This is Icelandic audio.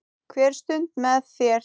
Hver stund með þér.